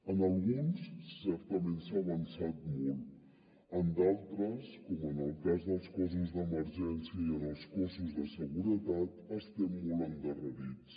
en alguns certament s’ha avançat molt en d’altres com en el cas dels cossos d’emergència i en els cossos de seguretat estem molt endarrerits